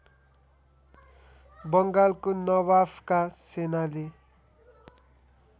बङ्गालको नवाफका सेनाले